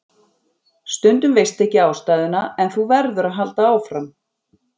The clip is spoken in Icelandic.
Stundum veistu ekki ástæðuna en þú verður að halda áfram.